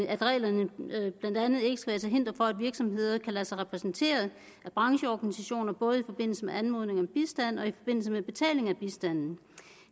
at reglerne blandt andet ikke skal være til hinder for at virksomheder kan lade sig repræsentere af brancheorganisationer både i forbindelse med anmodning om bistand og i forbindelse med betaling af bistand